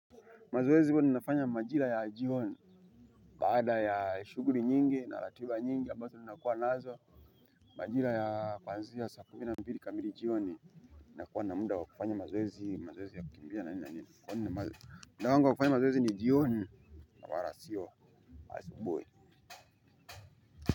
Mazoezi huwa ninafanya majira ya jioni baada ya shughuli nyingi na ratiba nyingi ambazo ninakuwa nazo majira ya kuanzia saa kumi na mbili kamili jioni na kuwa na muda wa kufanya mazoezi, mazoezi ya kukimbia na nini na nini kwani mazo muda wangu wa kufanya mazoezi ni jioni wala sio asubuhi.